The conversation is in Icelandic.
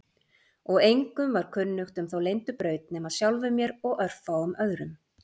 Og engum var kunnugt um þá leyndu braut nema sjálfum mér og örfáum öðrum.